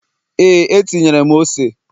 ee, etinyere m ose